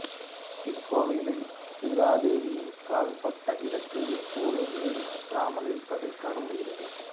இக்கோவிலில் சீதாதேவியின் கால்பட்ட இடத்தில் எப்போதும் நீர் வற்றாமல் இருப்பதைக் காணமுடிகிறது